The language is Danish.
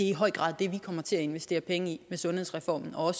i høj grad det vi kommer til at investere penge i med sundhedsreformen og